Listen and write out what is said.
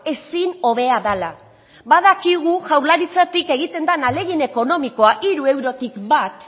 ezin hobea dela badakigu jaurlaritzatik egiten den ahalegin ekonomikoa hiru eurotik bat